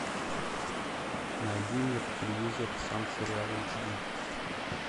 найди мне по телевизору сан сериал эйч ди